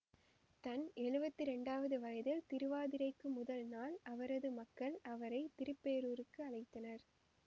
தன் எழுவத்தி இரண்டாவது வயதில் திருவாதிரைக்கு முதல் நாள் அவரது மக்கள் அவரை திருப்பேரூருக்கு அழைத்தனர்